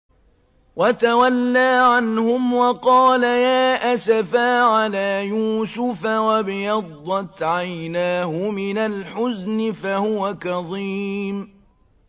وَتَوَلَّىٰ عَنْهُمْ وَقَالَ يَا أَسَفَىٰ عَلَىٰ يُوسُفَ وَابْيَضَّتْ عَيْنَاهُ مِنَ الْحُزْنِ فَهُوَ كَظِيمٌ